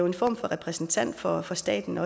en form for repræsentant for for staten